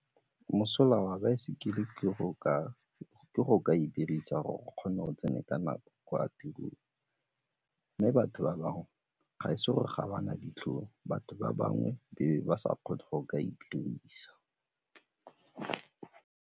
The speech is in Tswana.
Mosola wa baesekele ke go ka e dirisa gore o kgone gore o tsene ka nako go ya tirong mme batho ba bangwe ga e se gore ga ba na ditlhong batho ba bangwe be ba sa kgone go ka e dirisa.